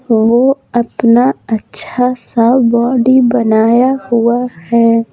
वह अपना अच्छा सा बॉडी बनाया हुआ है।